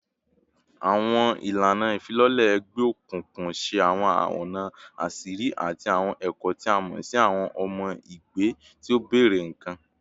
Awọn ilana ifilọlẹ egbeokunkun ṣe awọn ọna aṣiri ati awọn ẹkọ ti a mọ si awọn ọmọ ẹgbẹ ti o bẹrẹ nikan